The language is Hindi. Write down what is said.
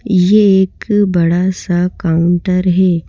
ये एक बड़ा सा काउंटर है।